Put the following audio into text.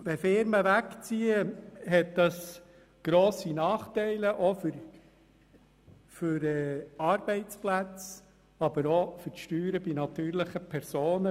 Wenn Firmen wegziehen, dann hat das grosse Nachteile für Arbeitsplätze aber auch bei den Steuern der natürlichen Personen.